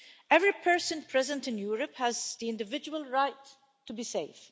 Every person present in Europe has the individual right to be safe.